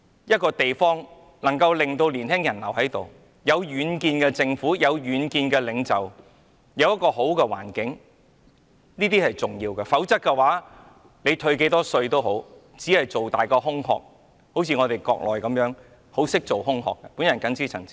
一個地方能夠令年輕人留下來，須有具遠見的政府和領袖，以及良好的環境，否則退多少稅也只是擴大空殼，就如內地，在做空殼方面，同樣很在行。